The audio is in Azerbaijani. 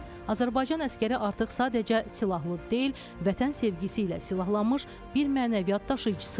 Azərbaycan əsgəri artıq sadəcə silahlı deyil, vətən sevgisi ilə silahlanmış bir mənəviyyat daşıyıcısı idi.